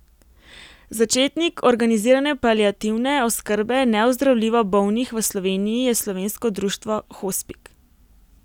Začetnik organizirane paliativne oskrbe neozdravljivo bolnih v Sloveniji je Slovensko društvo hospic.